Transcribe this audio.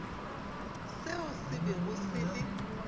seo se bego se le